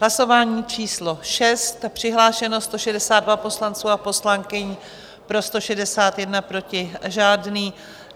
Hlasování číslo 6, přihlášeno 162 poslanců a poslankyň, pro 161, proti žádný.